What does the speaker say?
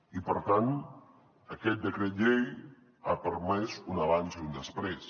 i per tant aquest decret llei ha permès un abans i un després